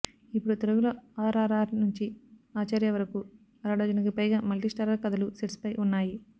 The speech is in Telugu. ఇప్పుడు తెలుగులో ఆర్ఆర్ఆర్ నుంచి ఆచార్య వరకు అరడజనుకి పైగా మల్టీ స్టారర్ కథలు సెట్స్ పై ఉన్నాయి